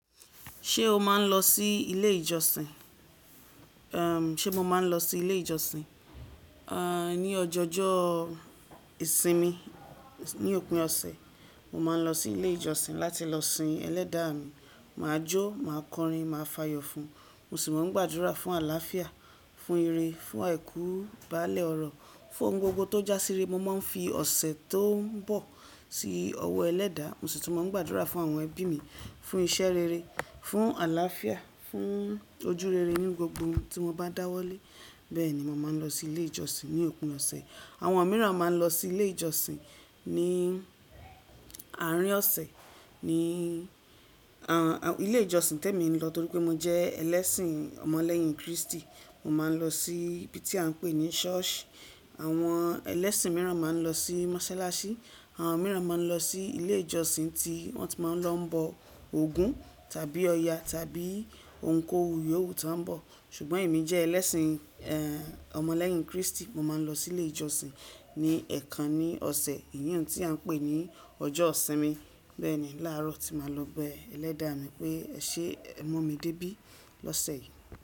Ṣé o máa ń lọ sí ilé ìjọsìn? Àm, ṣe mo máa ń lọ sí ilé ìjọsìn? À, ní ọjọ́jo ìsinmi, ní òpin ọ̀sẹ̀, mo máa ń lọ sí ilé ìjọsìn láti lọ sìn Ẹlẹ́dàá mi. Màá jó, màá kọrin, màá fàyọ̀ fún. Mo sì máa ń gbàdúrà fún àlàáfíà, fún ìre, fún àìkú bálé ọrọ̀, fún ohun gbogbo to já sí ire. Mo máa ń fi ọ̀sẹ̀ tó ń bọ̀ sí ọwọ́ Ẹlẹ́dàá, mo sì tú máa ń gbàdúrà fún àwọn ẹbí mi, fún iṣẹ́ rere, fún àlàáfíà, fún ojú rere ní gbogbo ohun tí mo bá dáwọ́lé. Bẹ́ẹ̀ ni mo máa ń lọ sí ilé ìjọsìn ní òpin ọ̀sẹ̀. Àwọn mìíràn máa ń lọ sí ilé ìjọsìn ní àárín ọ̀sẹ̀, ní, à, ilé ìjọsìn tẹ́ mi lọ torí pé mo jẹ ẹlẹ́sìn Ọmọ lẹ́yìn Kristi. Mo máa ń lọ sí ibi tí à ń pè ní ṣọ́ọ̀ṣì. Àwọn ẹlẹ́sìn mìíràn máa ń lọ sí mọ́ṣáláṣí, àwọn mìíràn máa ń lọ sí ilé ìjọsìn tí wọ́n ti máa ń lọ bọ ògún, tàbí ọ̀ya, tàbí ohun kóhun yòówù ti wo ń bọ̀. Ṣùgbọ́n èmi jẹ ẹlẹ́sìn, ẹ́, Ọmọ lẹ́yìn Kristi. Mo máa ń lọ sí ilé ìjọsìn ní ẹ̀ẹ̀kan ní ọ̀sẹ̀, eyi òhun tí à ń pè ní ọjọ́ ìsinmi. Bẹ́ẹ̀ ni láàárọ̀ tí màá lọ bẹ Ẹlẹ́dàá mi pé eṣé ẹ mu mí dé bí lọ́sẹ̀ yìí.